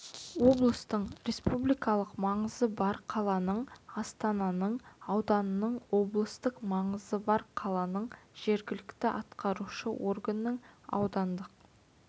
облыстың республикалық маңызы бар қаланың астананың ауданның облыстық маңызы бар қаланың жергілікті атқарушы органының аудандық